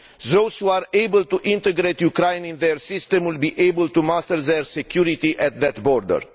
Those who are able to integrate Ukraine in their system will be able to master their security at that border.